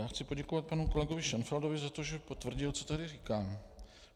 Já chci poděkovat panu kolegovi Šenfeldovi za to, že potvrdil, co tady říkám.